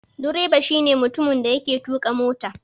Direba shi ne mutumin da yake tuƙa mota.